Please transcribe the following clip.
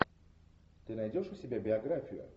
ты найдешь у себя биографию